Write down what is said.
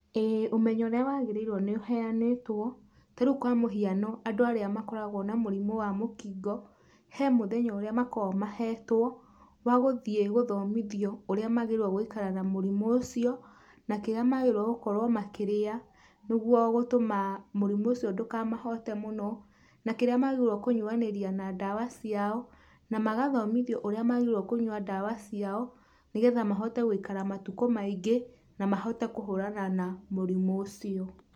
Ĩĩ ũmenyo ũrĩa wagĩrĩirwo nĩ ũheanĩtwo, tarĩu kwa mũhiano andũ arĩa makoragwo na mũrimũ wa mũkingo he mũthenya ũrĩa makoragwo mahetwo wa gũthiĩ gũthomithio ũrĩa magĩrĩirwo gũikara na mũrimũ ũcio, na kĩrĩa magĩrĩirwo gũkorwo makĩrĩa nĩguo gũtũma mũrimũ ũcio ndũkamahote mũno na kĩrĩa magĩrĩirwo kũnyuanĩria na ndawa ciao, na magathomithio ũrĩa magĩrĩirwo kũnyua ndawa ciao nĩgetha mahote gũikara matukũ maingĩ na mahote kũhũrana na mũrimũ ũcio.